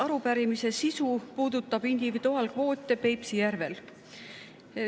Arupärimise sisu puudutab individuaalkvoote Peipsi järvel.